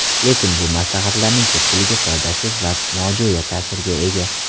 Lekin bu maslahatlarning ko‘pchiligi foydasiz va nojo‘ya ta’sirga ega.